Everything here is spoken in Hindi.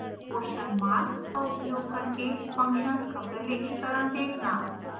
question mark का उपयोग करके फंक्शन्स का प्रलेखीकरण देखना